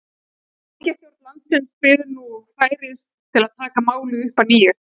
ríkisstjórn landsins bíður nú færis til að taka málið upp að nýju